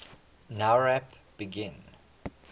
nowrap begin